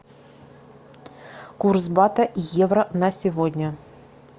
курс бата евро на сегодня